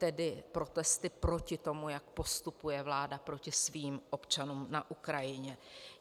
Tedy protesty proti tomu, jak postupuje vláda proti svým občanům na Ukrajině.